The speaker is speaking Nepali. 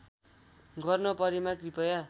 गर्न परेमा कृपया